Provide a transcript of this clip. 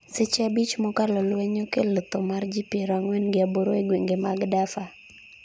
seche abich mokalo lweny okelo tho mar ji piero ang'wen gi aboro e gweng'e mag Dafur